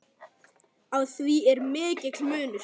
Á því er mikill munur.